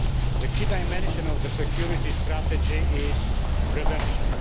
The key dimension of the security strategy is prevention.